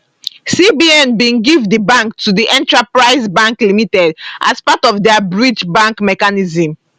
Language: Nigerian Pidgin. cbn bin give di bank to di enterprise bank limited as part of dia bridge bank mechanism